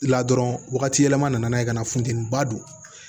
La dɔrɔn wagati yɛlɛma nana ye ka na funtɛni ba don